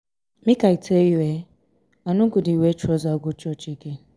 make i tell you eh i no go dey wear trouser go church again.